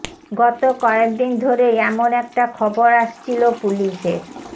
গত কয়েক দিন ধরেই এমন একটা খবর আসছিল পুলিশের